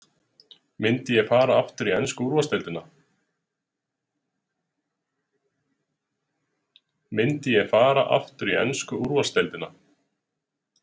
Myndi ég fara aftur í ensku úrvalsdeildina?